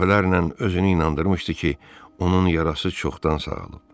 Dəfələrlə özünü inandırmışdı ki, onun yarası çoxdan sağalıb.